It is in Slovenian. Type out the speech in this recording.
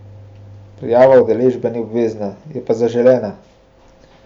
Prijava udeležbe ni obvezna, je pa zaželena.